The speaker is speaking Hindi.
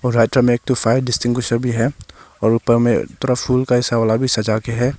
राइट में एक फायर डिस्ट्रीब्यूशन है और ऊपर में थोड़ा फूल वाला भी सजा के है।